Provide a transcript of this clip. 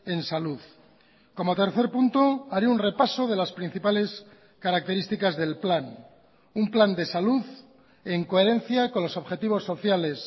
en salud como tercer punto haré un repaso de las principales características del plan un plan de salud en coherencia con los objetivos sociales